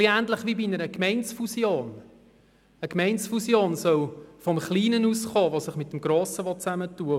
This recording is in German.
Es ist vielleicht ähnlich wie bei einer Gemeindefusion, die vom Kleinen ausgehen soll, der sich mit dem Grossen zusammenschliessen will.